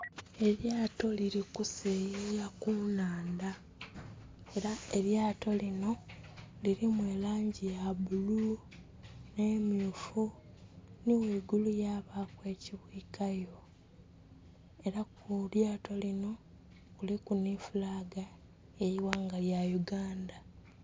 Elyato lili kuseyeya ku nhandha era elyato linho lilimu elangi ya bulu nhe myufu nhi ghaigulu yabaku ekibwikayo. Era kulyato linho kuliku nhi fulaga eye ighanga lya Uganda.